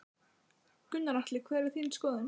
Gunnar Atli: Hver er þín skoðun?